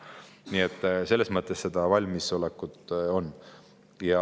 Nii et selles mõttes valmisolekut on.